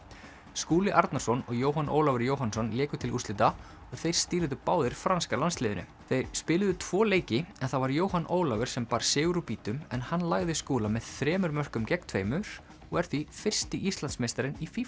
Skúli Arnarson og Jóhann Ólafur Jóhannsson léku til úrslita og þeir stýrðu báðir franska landsliðinu þeir spiluðu tvo leiki en það var Jóhann Ólafur sem bar sigur úr býtum en hann lagði Skúla með þremur mörkum gegn tveimur og er því fyrsti Íslandsmeistarinn í